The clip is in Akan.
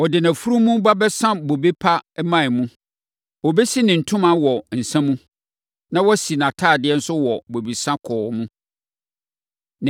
Ɔbɛsa nʼafunumu wɔ bobe dua mu. Ɔde nʼafunumu ba bɛsa bobe pa mman mu. Ɔbɛsi ne ntoma wɔ nsã mu, na wasi nʼatadeɛ nso wɔ bobesa kɔɔ mu.